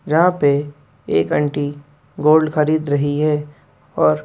यहां पे एक आन्टी गोल्ड खरीद रही है और--